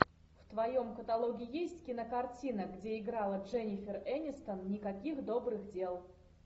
в твоем каталоге есть кинокартина где играла дженифер энистон никаких добрых дел